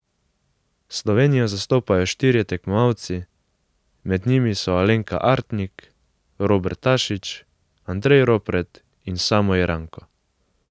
Slovenijo zastopajo štirje tekmovalci, med njimi so Alenka Artnik, Robert Tašič, Andrej Ropret in Samo Jeranko.